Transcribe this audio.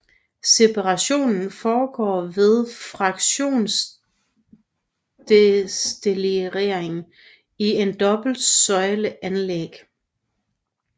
Separationen foregår ved fraktionsdestillering i et dobbelt søjle anlæg